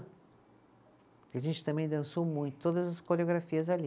A gente também dançou muito, todas as coreografias ali.